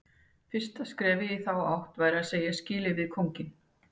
Fyrsta skrefið í þá átt væri að segja skilið við kónginn.